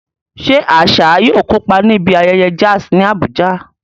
Ṣé Asa yóò kópa níbi ayẹyẹ jazz ní Abuja?